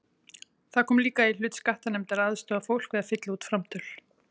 Það kom líka í hlut skattanefndar að aðstoða fólk við að fylla út framtöl.